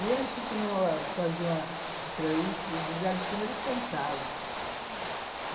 E eles faziam aquela... E lá de cima eles cantavam. Ah...